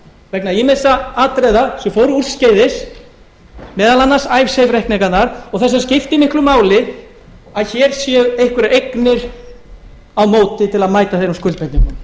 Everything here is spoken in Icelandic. vegna ýmissa atriða sem fóru úrskeiðis meðal annars icesave reikninganna og þess vegna skiptir miklu máli að hér séu einhverjar eignir á móti til að mæta þeirra skuldbindingum